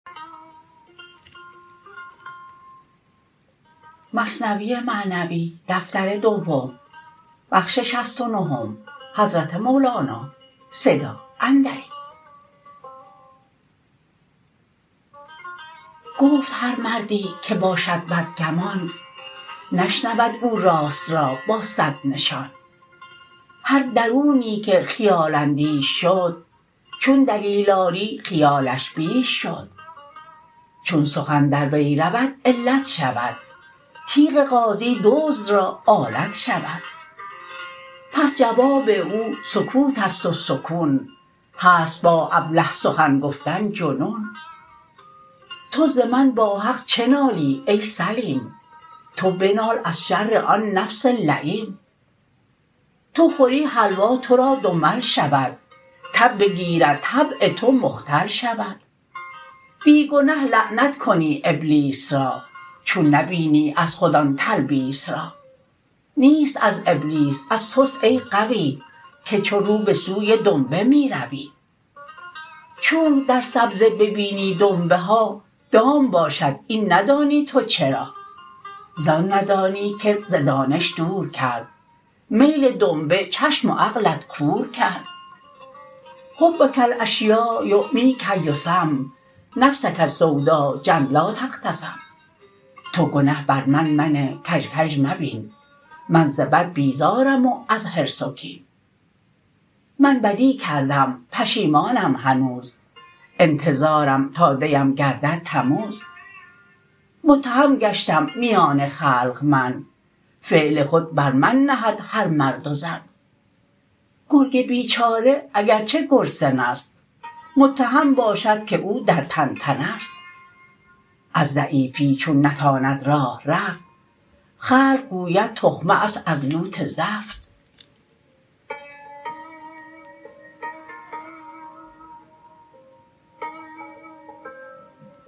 گفت هر مردی که باشد بد گمان نشنود او راست را با صد نشان هر درونی که خیال اندیش شد چون دلیل آری خیالش بیش شد چون سخن در وی رود علت شود تیغ غازی دزد را آلت شود پس جواب او سکوت است و سکون هست با ابله سخن گفتن جنون تو ز من با حق چه نالی ای سلیم تو بنال از شر آن نفس لییم تو خوری حلوا تو را دنبل شود تب بگیرد طبع تو مختل شود بی گنه لعنت کنی ابلیس را چون نبینی از خود آن تلبیس را نیست از ابلیس از تست ای غوی که چو روبه سوی دنبه می روی چونک در سبزه ببینی دنبه ها دام باشد این ندانی تو چرا زان ندانی کت ز دانش دور کرد میل دنبه چشم و عقلت کور کرد حبک الاشیاء یعمیک یصم نفسک السودا جنت لا تختصم تو گنه بر من منه کژ کژ مبین من ز بد بیزارم و از حرص و کین من بدی کردم پشیمانم هنوز انتظارم تا دیم گردد تموز متهم گشتم میان خلق من فعل خود بر من نهد هر مرد و زن گرگ بیچاره اگرچه گرسنه ست متهم باشد که او در طنطنه ست از ضعیفی چون نتواند راه رفت خلق گوید تخمه ست از لوت زفت